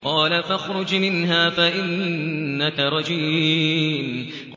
قَالَ فَاخْرُجْ مِنْهَا فَإِنَّكَ رَجِيمٌ